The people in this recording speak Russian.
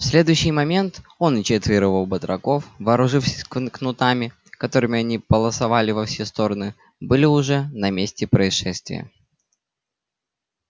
в следующий момент он и четверо его батраков вооружившись кнутами которыми они полосовали во все стороны были уже на месте происшествия